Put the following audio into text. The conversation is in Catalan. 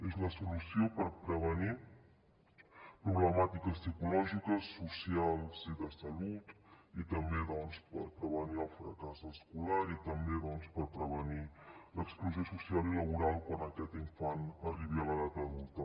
és la solució per prevenir problemàtiques psicològiques socials i de salut i també doncs per prevenir el fracàs escolar i també per prevenir l’exclusió social i laboral quan aquest infant arribi a l’edat adulta